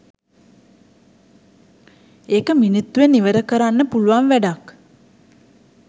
ඒක මිනිත්තුවෙන් ඉවර කරන්න පුළුවන් වැඩක්.